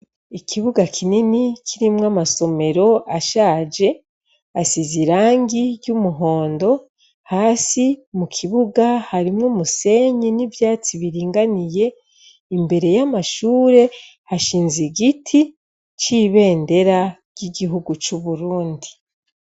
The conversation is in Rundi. Ikibuga kinini kirimwo amasomero ashaje asize irangi ryumuhondo hasi mukibuga harimwu umusenyi nivyatsi biringaniye imbere yamashure hashinze igiti cibendera ryigihugu cuburundi